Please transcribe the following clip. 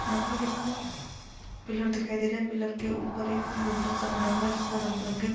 यहाँ पर एक पिलर दिखाई दे रहा पिलर के ऊपर एक गुम्बद -सा बना हुआ है जिस पर रंग बिरंगी--